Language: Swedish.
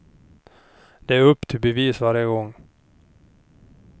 Det är upp till bevis varje gång.